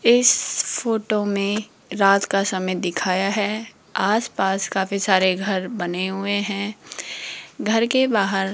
इस फोटो में रात का समय दिखाया है आस पास काफी सारे घर बने हुए है घर के बाहर --